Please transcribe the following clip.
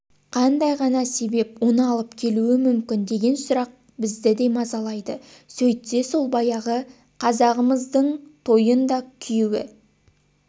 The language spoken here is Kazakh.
қандай ғана себеп оны алып келуі мүмкін деген сұрақ біздіде мазалайды сөйтсе сол баяғы қазағымыздыңтойындакүйеуі